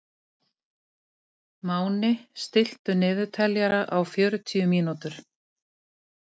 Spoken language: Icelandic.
Máni, stilltu niðurteljara á fjörutíu mínútur.